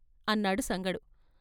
" అన్నాడు సంగడు.